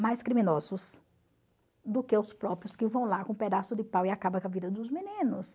mais criminosos do que os próprios que vão lá com um pedaço de pau e acabam com a vida dos meninos.